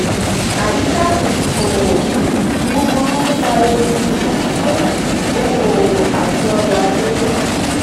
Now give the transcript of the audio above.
àyíká um òwò um búburú ń fa ewu um fún okò-òwò àti ọrọ̀ ajé.